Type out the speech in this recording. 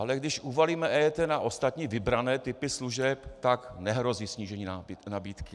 Ale když uvalíme EET na ostatní vybrané typy služeb, tak nehrozí snížení nabídky.